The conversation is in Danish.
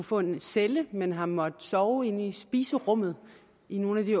få en celle men har måttet sove inde i spiserummet i nogle af de